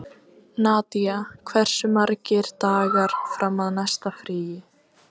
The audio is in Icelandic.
Nadia, hversu margir dagar fram að næsta fríi?